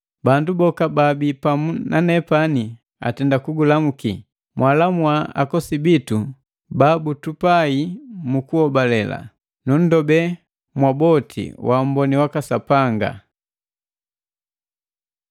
Bandu boka baabii pamu nanepani atenda kugulamuki. Mwalamua akosi bitu babutupai mu kuhobale. Nunndobe mwaboti waamboni waka Sapanga.